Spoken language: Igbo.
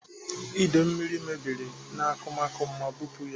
Ide mmiri mebiri n'akụmakụ m ma bupu ya.